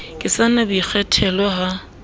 ke sa na boikgethelo ha